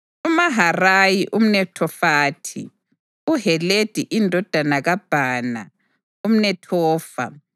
uMaharayi umNethofathi, uHeledi indodana kaBhana umNethofa,